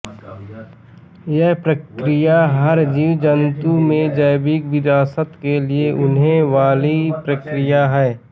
यह प्रक्रिया हर जीव जंतु में जैविक विरासत के लिए होने वालि प्रक्रिया है